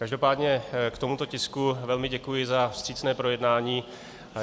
Každopádně k tomuto tisku velmi děkuji za vstřícné projednání.